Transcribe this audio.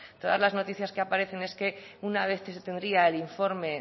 todas las noticias que aparecen es que una vez que se tendría el informe